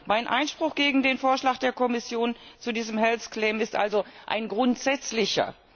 Mein Einspruch gegen den Vorschlag der Kommission zu diesem health claim ist also ein grundsätzlicher.